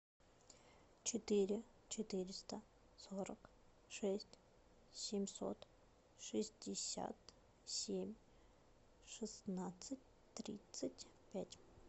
четыре четыреста сорок шесть семьсот шестьдесят семь шестнадцать тридцать пять